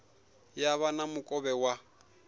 ya vha na mukovhe wa